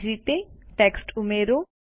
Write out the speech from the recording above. એ જ રીતે ટેક્સ્ટ ઉમેરો